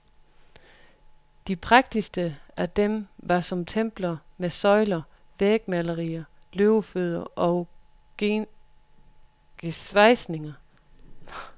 De prægtigste af dem var som templer, med søjler, vægmalerier, løvefødder og gesvejsninger.